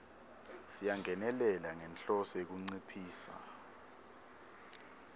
siyangenelela ngenhloso yekunciphisa